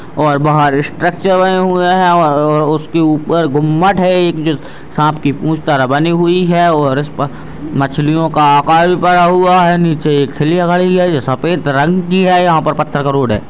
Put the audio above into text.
और बाहर स्ट्रक्चर बने हुए हैं और उसके ऊपर गुम्मट है एक जो सांप की पूंछ की तरह बनी हुई है और इसपर मछलियों का आकर भी बना हुआ है | निचे एक गाड़ी आई सफ़ेद रंग की है यहाँ पर पत्थर का रोड है |